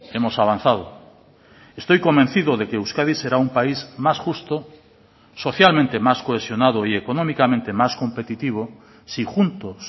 hemos avanzado estoy convencido de que euskadi será un país más justo socialmente más cohesionado y económicamente más competitivo si juntos